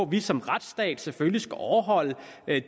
vi som retsstat selvfølgelig skal overholde